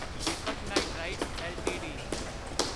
Deepak Nitrite LTD